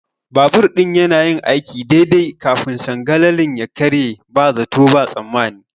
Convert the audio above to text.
Babur ɗin yanayin aiki daidai kafin sangalalin ya karye ba zato ba tsammani.